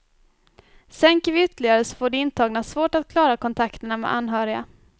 Sänker vi ytterligare så får de intagna svårt att klara kontakterna med anhöriga.